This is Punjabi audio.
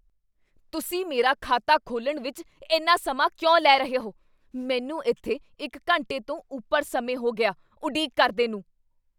ਤੁਸੀਂ ਮੇਰਾ ਖਾਤਾ ਖੋਲ੍ਹਣ ਵਿੱਚ ਇੰਨਾ ਸਮਾਂ ਕਿਉਂ ਲੈ ਰਹੇ ਹੋ? ਮੈਨੂੰ ਇੱਥੇ ਇੱਕ ਘੰਟੇ ਤੋਂ ਉੱਪਰ ਸਮੇਂ ਹੋ ਗਿਆ ਉਡੀਕ ਕਰਦੇ ਨੂੰ!